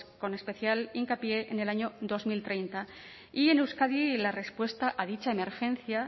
con especial hincapié en el año dos mil treinta y en euskadi la respuesta a dicha emergencia